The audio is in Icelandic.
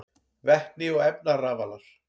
Vetni og efnarafalar: